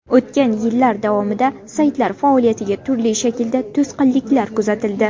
O‘tgan yillar davomida saytlar faoliyatiga turli shaklda to‘sqinliklar kuzatildi.